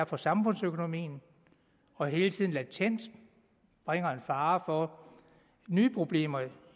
for samfundsøkonomien og er hele tiden en latent fare for nye problemer